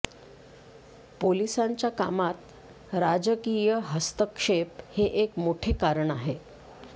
पोलिसांच्या कामात राजकीय हस्तक्षेप हे एक मोठे कारण आहे